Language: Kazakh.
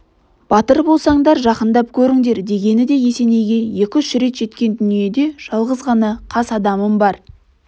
батыр болсаңдар жақындап көріңдер дегені де есенейге екі-үш рет жеткен дүниеде жалғыз ғана қас адамым бар